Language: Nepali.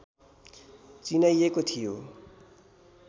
चिनाइएको थियो